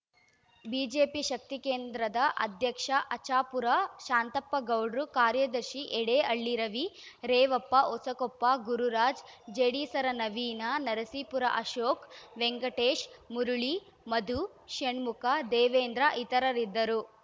BJP ಶಕ್ತಿಕೇಂದ್ರದ ಅಧ್ಯಕ್ಷ ಆಚಾಪುರ ಶಾಂತಪ್ಪಗೌಡ್ರು ಕಾರ್ಯದರ್ಶಿ ಯಡೇಹಳ್ಳಿ ರವಿ ರೇವಪ್ಪ ಹೊಸಕೊಪ್ಪ ಗುರುರಾಜ್‌ ಜೇಡಿಸರ ನವೀನ ನರಸೀಪುರ ಅಶೋಕ್‌ ವೆಂಕಟೇಶ್‌ ಮುರಳಿ ಮಧು ಷಣ್ಮುಖ ದೇವೇಂದ್ರ ಇತರರಿದ್ದರು